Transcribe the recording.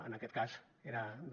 en aquest cas era de